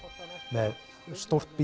með stórt